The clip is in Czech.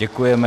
Děkujeme.